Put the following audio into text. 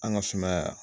An ka sumaya